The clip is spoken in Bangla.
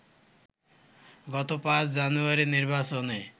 গত ৫ জানুয়ারির নির্বাচনে